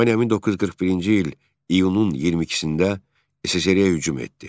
Almaniya 1941-ci il iyunun 22-də SSRİ-yə hücum etdi.